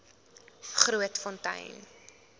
grootfontein